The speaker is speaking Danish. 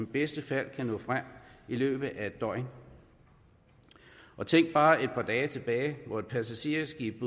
bedste fald nå frem i løbet af en døgn tænk bare et par dage tilbage hvor et passagerskib